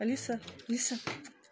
алиса алиса